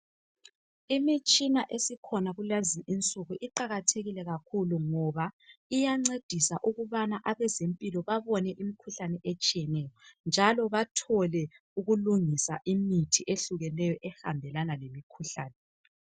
Imitshina esikhona kulezinsuku iqakathekile kakhulu ngoba iyancedisa ukubana abezempilo babone imikhuhlane etshiyeneyo njalo bathole ukulungisa imithi ehlukeneyo ehambelana lemkhuhlane.